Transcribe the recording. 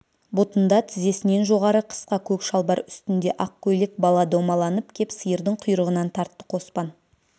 бұтында тізесінен жоғары қысқа көк шалбар үстінде ақ көйлек бала домаланып кеп сиырдың құйрығынан тартты қоспан